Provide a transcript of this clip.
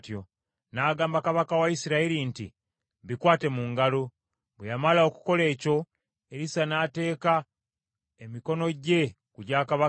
N’agamba kabaka wa Isirayiri nti, “Bikwate mu ngalo.” Bwe yamala okukola ekyo, Erisa n’ateeka emikono gye ku gya kabaka.